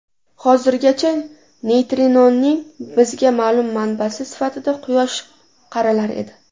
Hozirgacha neytrinoning bizga ma’lum manbasi sifatida Quyosh qaralar edi.